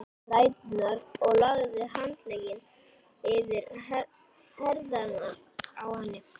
ræturnar og lagði handlegginn yfir herðarnar á henni.